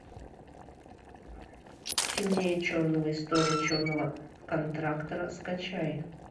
темнее черного история черного контрактора скачай